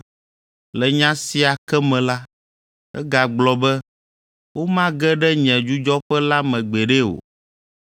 Le nya sia ke me la, egagblɔ be “Womage ɖe nye dzudzɔƒe la me gbeɖe o.”